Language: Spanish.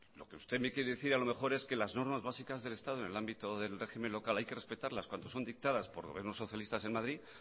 lo que usted me quiere decir a lo mejor es que las normas básicas del estado en el ámbito del régimen local hay que respetarlas cuando están dictadas por el gobierno socialista en madrid